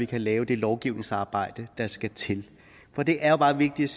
kan laves det lovgivningsarbejde der skal til for det er bare vigtigt